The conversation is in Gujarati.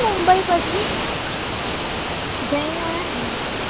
જઈને આયા